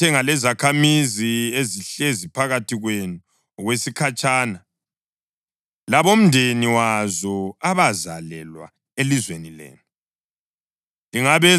Lingathenga lezakhamizi ezihlezi phakathi kwenu okwesikhatshana, labomndeni wazo abazalelwa elizweni lenu.